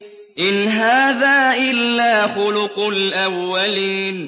إِنْ هَٰذَا إِلَّا خُلُقُ الْأَوَّلِينَ